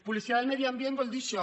policia del medi ambient vol dir això